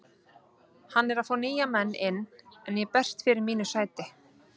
Hann er að fá nýja menn inn en ég berst fyrir mínu sæti.